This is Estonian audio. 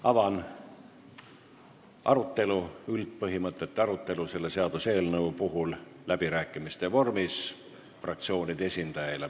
Avan läbirääkimiste vormis selle seaduseelnõu üldpõhimõtete arutelu.